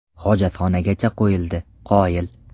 Hojatxonagacha qo‘yildi, qoyil!